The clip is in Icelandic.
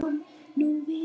Við erum óhrædd við það.